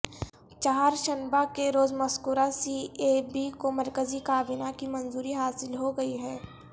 چہارشنبہ کے روز مذکورہ سی اے بی کو مرکزی کابینہ کی منظوری حاصل ہوگئی ہے